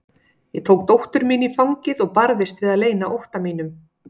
Ég tók dóttur mína í fangið og barðist við að leyna ótta mínum.